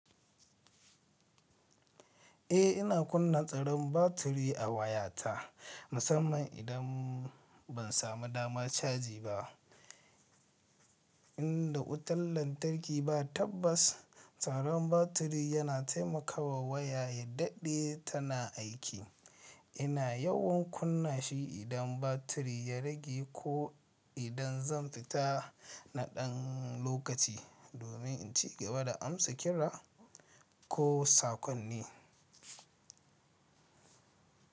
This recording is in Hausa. Eh, ina kunna tsaron batiri a wayata musamman idan ban samu dama caji ba. In da wutar lantarki ba tabbas, tsaron batiri yana taimakawa waya yaddaɗe tana aiki. Ina yawan kunna shi idan batiri ya rage ko idan zan fita na ɗan lokaci domin in cigaba da amsa kira ko saƙonni.